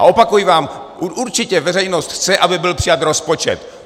A opakuji vám, určitě veřejnost chce, aby byl přijat rozpočet.